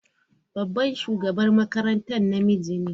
Babban shugaban makarantara namiji ne.